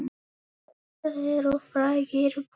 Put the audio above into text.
Þetta eru frægir bófar.